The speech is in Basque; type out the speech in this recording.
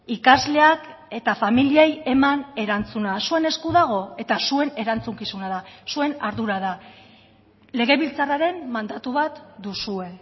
ikasleak eta familiei eman erantzuna zuen esku dago eta zuen erantzukizuna da zuen ardura da legebiltzarraren mandatu bat duzue